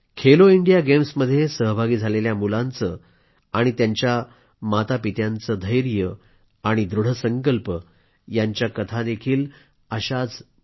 Khelo India गेम्समध्ये सहभागी झालेल्या मुलांचे आणि त्यांच्या मातापित्यांचे धैर्य आणि दृढ संकल्प यांच्या कथाही अशाच ऐकण्यासारख्या आहेत